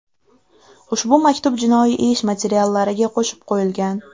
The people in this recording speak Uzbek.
Ushbu maktub jinoiy ish materiallariga qo‘shib qo‘yilgan.